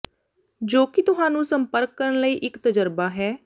ਜੋ ਕਿ ਤੁਹਾਨੂੰ ਸੰਪਰਕ ਕਰਨ ਲਈ ਇੱਕ ਤਜਰਬਾ ਹੈ